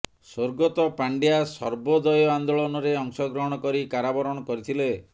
ସ୍ୱର୍ଗତ ପାଣ୍ଡ୍ୟା ସର୍ବୋଦୟ ଆନ୍ଦୋଳନରେ ଅଂଶଗ୍ରହଣ କରି କାରାବରଣ କରିଥିଲେ